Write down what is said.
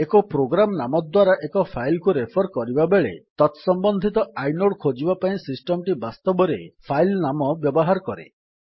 ଏକ ପ୍ରୋଗ୍ରାମ୍ ନାମ ଦ୍ୱାରା ଏକ ଫାଇଲ୍ କୁ ରେଫର୍ କରିବାବେଳେ ତତ୍ ସମ୍ବନ୍ଧିତ ଆଇନୋଡ୍ ଖୋଜିବା ପାଇଁ ସିଷ୍ଟମ୍ ଟି ବାସ୍ତବରେ ଫାଇଲ୍ ନାମ ବ୍ୟବହାର କରେ